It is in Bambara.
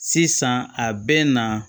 Sisan a bɛ na